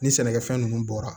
Ni sɛnɛkɛfɛn nunnu bɔra